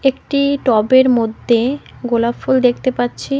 একটি টবের মধ্যে গোলাপ ফুল দেখতে পাচ্ছি।